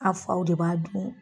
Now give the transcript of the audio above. A' faw de b'a dun